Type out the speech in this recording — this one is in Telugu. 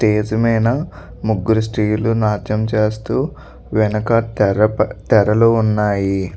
స్టేజ్ మీద ముగ్గురు స్త్రీలు నాట్యం చేస్తూ వెనకాల తెర తెరలు ఉన్నాయి.